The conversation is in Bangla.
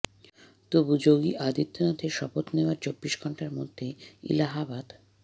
তবু যোগী আদিত্যনাথের শপথ নেওয়ার চব্বিশ ঘণ্টার মধ্যেই ইলাহাবাদ